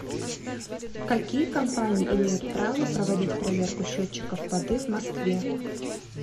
какие компании имеют право проводить поверку счетчиков воды в москве